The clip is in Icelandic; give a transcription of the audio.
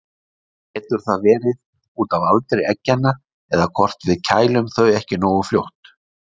Getur það verið út af aldri eggjanna eða hvort við kælum þau ekki nógu fljótt?